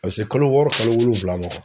Ka se kalo wɔɔrɔ kalo wolonfula ma